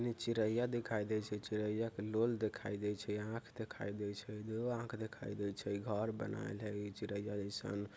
नी चिरैया दिखाई दे छे| चिरैया के लोल दिखाई दे छे आँख दिखाई दे छे दो आँख दिखाई दे छे घर बनाएल है चिरैया जैसन।